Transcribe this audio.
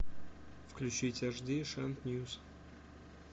включить эйчди шант ньюс